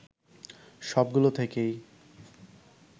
সবগুলো থেকেই